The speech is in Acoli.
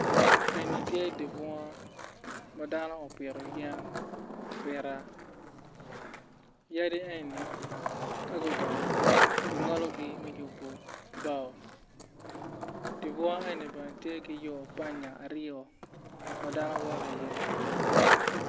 Enni tye di bunga ma dano opito yen apita yadi enni ka gudongo ki ngologi me yubu bao di bunga enni bene tye ki banya ariyo ma dano woto iye